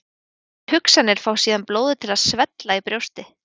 Þær hugsanir fá síðan blóðið til að svella í brjósti.